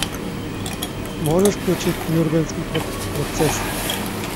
можешь включить нюрнбергский процесс